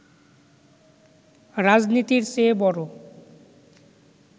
রাজনীতির চেয়ে বড়